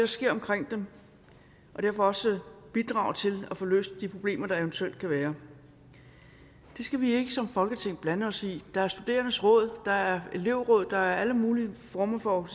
sker omkring dem og derfor også bidrage til at få løst de problemer der eventuelt kan være det skal vi ikke som folketing blande os i der er studerendes råd der er elevråd der er alle mulige former for